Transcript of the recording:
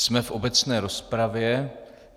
Jsme v obecné rozpravě.